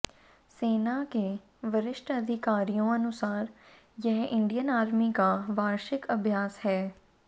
सेना के वरिष्ठ अधिकारियों अनुसार यह इंडियन आर्मी का वार्षिक अभ्यास है